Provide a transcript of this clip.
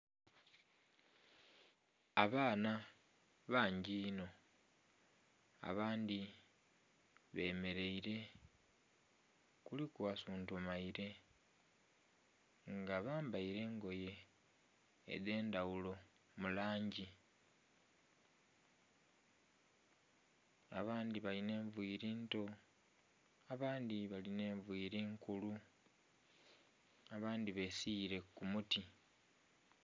abaana bangi inho abandhi bemeraile kuliku asuntumaile nga bambaile engoye edhendaghulo mu langi abandhi lalinha enviiri nto abandhi balina nviiri nkulu, abandhi besiire ku muti.